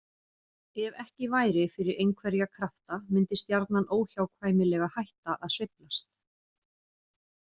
Ef ekki væri fyrir einhverja krafta myndi stjarnan óhjákvæmilega hætta að sveiflast.